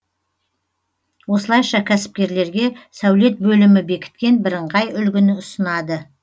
осылайша кәсіпкерлерге сәулет бөлімі бекіткен бірыңғай үлгіні ұсынады